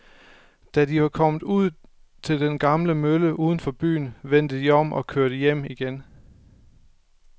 Da de var kommet ud til den gamle mølle uden for byen, vendte de om og kørte hjem igen.